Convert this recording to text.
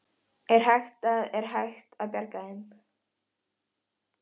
Vísan sem ég spurðist fyrir um var þannig: